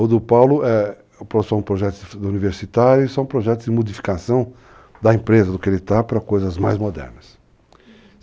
O do Paulo é só um projeto universitário e só um projeto de modificação da empresa do que ele está para coisas mais modernas.